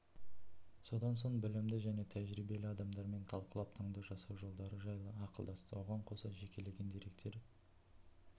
содан соң білімді және тәжірибелі адамдармен талқылап таңдау жасау жолдары жайлы ақылдасты оған қоса жекелеген деректер